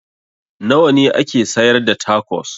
Nawa ne ake sayar da tacos?